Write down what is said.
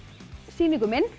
sýna ykkur minn